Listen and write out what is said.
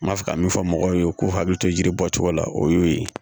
N b'a fɛ ka min fɔ mɔgɔw ye u k'u hakili to yiri bɔcogo la o y'o ye